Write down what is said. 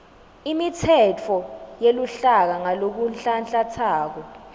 imitsetfo yeluhlaka ngalokunhlanhlantsako